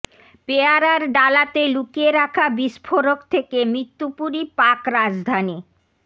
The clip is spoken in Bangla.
পেয়ারার ডালাতে লুকিয়ে রাখা বিস্ফোরক থেকে মৃত্যুপুরী পাক রাজধানী